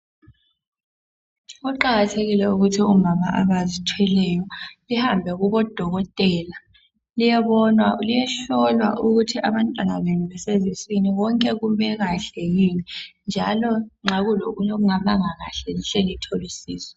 Kuqakathekile ukuthi omama abazithweleyo behambe kubodokotela ukuyohlolwa abantwana ababathweleyo. Kumele bahlolwe ukuthi konke kumi kahle yini ukwenzela ukuthi uma kukhona okungalunganga behle bathole usizo.